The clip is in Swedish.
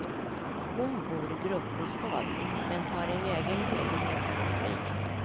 Hon bor i gruppbostad men har en egen lägenhet där hon trivs.